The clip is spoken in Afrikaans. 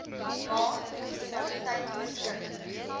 ma munisipaliteit beskik